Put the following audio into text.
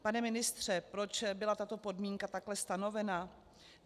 Pane ministře, proč byla tato podmínka takhle stanovena?